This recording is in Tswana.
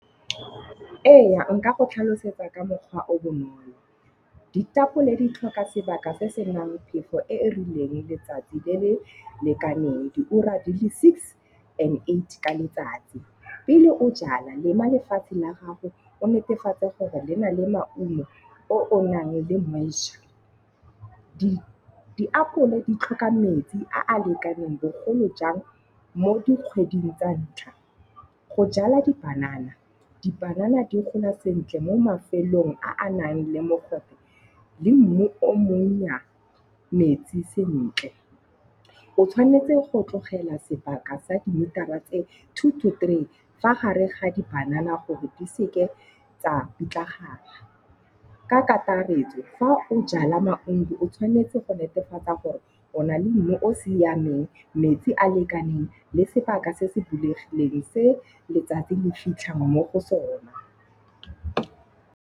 Eya, nka go tlhalosetsa ka mokgwa o bonolo. Ditapole di tlhoka sebaka se senang phefo e e rileng letsatsi le le lekaneng, diura di le six and eight ka letsatsi. Pele o jala lema lefatshe la gago o netefatse gore le na le maungo o o nang le . Diapole di tlhoka metsi a a lekaneng bogolo jang mo dikgweding tsa ntlha. Go jala di-banana, dipanana di gola sentle mo mafelong a a nang le mogobe le mmu o monnya metsi sentle. O tshwanetse go tlogela sebaka sa dimetara tse two to three fa gare ga di-banana gore di seke tsa pitlagana. Ka kakaretso fa o jala maungo o tshwanetse go netefatsa gore o na le mmu o siameng, metsi a lekaneng le sebaka se se bulegileng se letsatsi le fitlhang mo go sona.